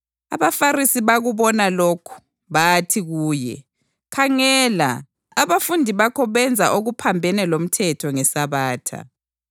AbaFarisi bakubona lokhu, bathi kuye, “Khangela! Abafundi bakho benza okuphambene lomthetho ngeSabatha.”